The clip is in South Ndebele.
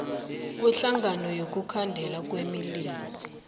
kweenhlangano zokukhandela imililo